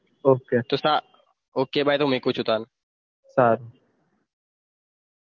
okay તોસા okay bye મુકુછું સારું